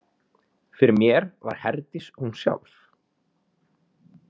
Fyrir mér var Herdís hún sjálf.